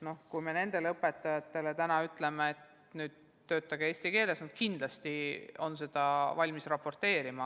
Kui me nendele õpetajatele täna ütleme, et töötage eesti keeles, siis nad kindlasti on valmis seda raporteerima.